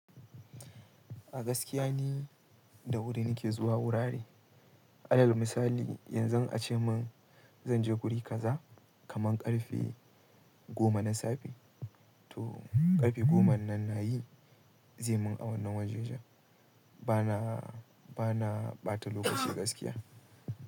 A gaskiya ne, da wuri nake zuwa wurare. Alal misali, yanzun ace min, zan je guri kaza, kaman ƙarfe goma na safe, to ƙarfe goma nan, na yi, zai mun awannin waje jan. Bana, bana ɓata lokaci gaskiya.